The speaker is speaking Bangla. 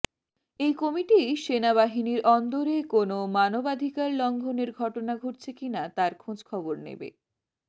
এই কমিটি সেনাবাহিনীর অন্দরে কোনও মানবাধিকার লঙ্ঘনের ঘটনা ঘটছে কিনা তার খোঁজখবর নেবে